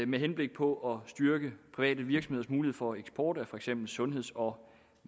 med henblik på at styrke private virksomheders mulighed for eksport af for eksempel sundheds og